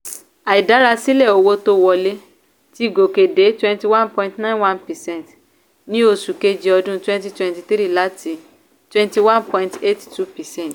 àìdárasílẹ̀ owó tó ń wọlé ti gòkè dé twenty one point nine one percent ní oṣù kejì ọdún twenty twenty three láti twenty nine point eight two percent